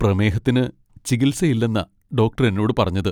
പ്രമേഹത്തിന് ചികിത്സയില്ലെന്നാ ഡോക്ടർ എന്നോട് പറഞ്ഞത്.